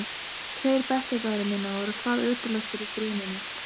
Tveir bekkjarbræðra minna voru hvað ötulastir í stríðninni.